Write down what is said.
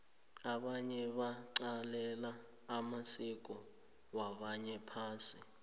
abanye baqalela amasiko wabanye phasi